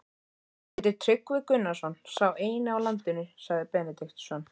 Hann heitir Tryggvi Gunnarsson, sá eini á landinu, sagði Benediktsson.